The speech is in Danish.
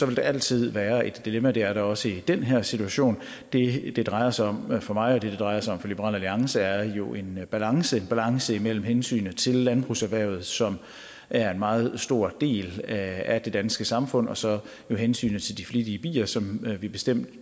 vil der altid være et dilemma og det er der også i den her situation det det drejer sig om for mig og det det drejer sig om for liberal alliance er jo en balance en balance imellem hensynet til landbrugserhvervet som er en meget stor del af det danske samfund og så hensynet til de flittige bier som vi bestemt